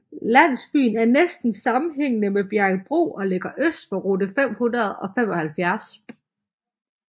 Landsbyen er næsten sammenhængende med Bjerringbro og ligger øst for rute 575